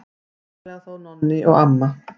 Aðallega þó Nonni og amma.